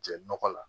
Jɛ nɔgɔ la